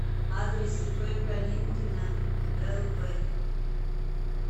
адрес ип калинкина лв